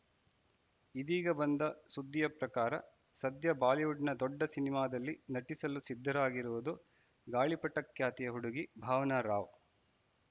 ಇದೀಗ ಬಂದ ಸುದ್ದಿಯ ಪ್ರಕಾರ ಸದ್ಯ ಬಾಲಿವುಡ್‌ನ ದೊಡ್ಡ ಸಿನಿಮಾದಲ್ಲಿ ನಟಿಸಲು ಸಿದ್ಧರಾಗಿರುವುದು ಗಾಳಿಪಟ ಖ್ಯಾತಿಯ ಹುಡುಗಿ ಭಾವನಾ ರಾವ್‌